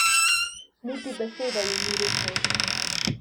Niti besede ji ni rekel.